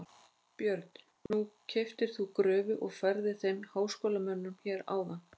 Björn: Nú keyptir þú gröfu og færðir þeim háskólamönnum hér áðan?